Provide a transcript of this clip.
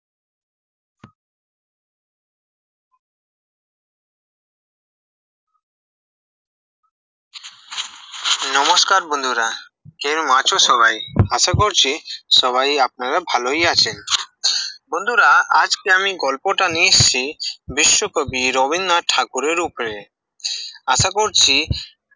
নমস্কার বন্ধুরা, কেরম আছো সবাই? আশা করছি, সবাই আপনারা ভালই আছেন, বন্ধুরা আজকে আমি গল্প টা নিয়ে এসেছি, বিশ্বকবি রবীন্দ্রনাথ ঠাকুরের উপরে, আশা করছি-